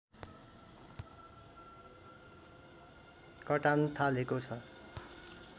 कटान थालेको छ